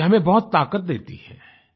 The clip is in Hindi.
ये हमें बहुत ताकत देती है